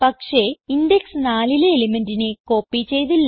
പക്ഷേ ഇൻഡെക്സ് 4ലെ elementനെ കോപ്പി ചെയ്തില്ല